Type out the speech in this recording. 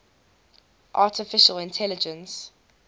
artificial intelligence